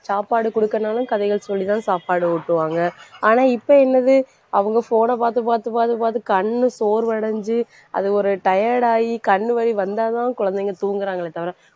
சாப்பாடு குடுக்கிறனாலும் கதைகள் சொல்லிதான் சாப்பாடு ஊட்டுவாங்க ஆனா இப்ப என்னது அவங்க phone ன பாத்து பாத்து பாத்து பாத்து கண்ணு சோர்வடைஞ்சு அது ஒரு tired ஆயி கண்ணு வலி வந்தாதான் குழந்தைங்க தூங்குறாங்களே தவிர